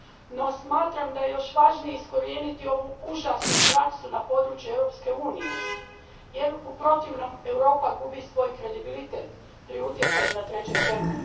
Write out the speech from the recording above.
No, smatram da je još važnije iskorijeniti ovu užasnu praksu na području Europske unije, jer u protivnom Europa gubi svoj kredibilitet pri utjecanju na treće zemlje.